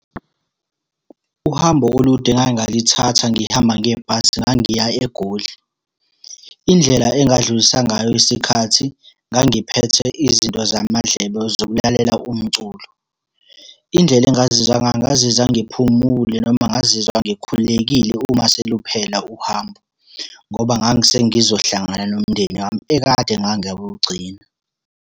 Uhambo olude engake ngalithatha ngihamba ngebhasi ngangiya eGoli. Indlela engadlulisa ngayo isikhathi, ngangiphethe izinto zamadlebe zokulalela umculo. Indlela engazizwa ngayo ngazizwa ngiphumule noma ngazizwa ngikhululekile uma seluphela uhambo, ngoba ngangise ngizohlangana nomndeni wami ekade ngangawugcina.